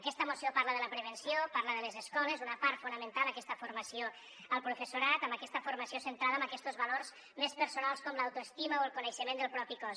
aquesta moció parla de la prevenció parla de les escoles una part fonamental aquesta formació al professorat amb aquesta formació centrada en aquestos valors més personals com l’autoestima o el coneixement del propi cos